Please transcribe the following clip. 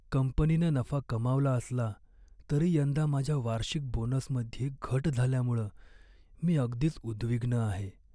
कंपनीनं नफा कमावला असला तरी यंदा माझ्या वार्षिक बोनसमध्ये घट झाल्यामुळं मी अगदीच उद्विग्न आहे.